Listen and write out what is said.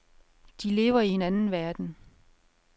De lever i en anden verden.